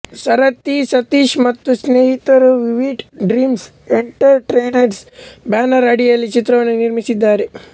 ಸಾರಥಿ ಸತೀಶ್ ಮತ್ತು ಸ್ನೇಹಿತರು Vivid Dreams Entertainment banner ಅಡಿಯಲ್ಲಿ ಚಿತ್ರವನ್ನು ನಿರ್ಮಿಸಿದ್ದಾರೆ